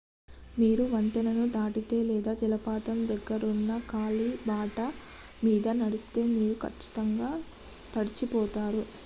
మీరు వంతెనను దాటితే లేదా జలపాతం దగ్గరున్న కాలిబాట మీద నడిస్తే మీరు కచ్చితంగా తడిచిపోతారు